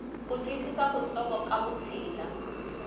ku twisisa kutsongo ka vutshila